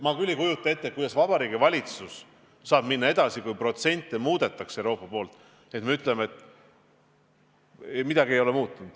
Ma ei kujuta ette, kuidas Vabariigi Valitsus saaks selle projektiga edasi minna, kui Euroopa protsente muudab.